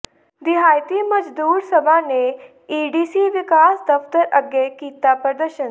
ਦਿਹਾਤੀ ਮਜ਼ਦੂਰ ਸਭਾ ਨੇ ਏਡੀਸੀ ਵਿਕਾਸ ਦਫ਼ਤਰ ਅੱਗੇ ਕੀਤਾ ਪ੍ਰਦਰਸ਼ਨ